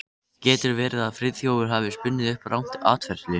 Getur verið að Friðþjófur hafi spunnið upp rangt atferli?